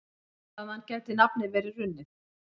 Þaðan gæti nafnið verið runnið.